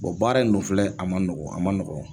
baara in n dun filɛ a ma nɔgɔn a ma nɔgɔn.